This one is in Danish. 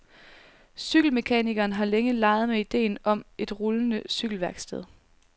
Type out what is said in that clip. Cykelmekanikeren har længe leget med idéen om et rullende cykelværksted.